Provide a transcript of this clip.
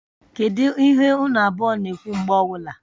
Kedu ihe unu abụọ na-ekwu mgbe ọwụla?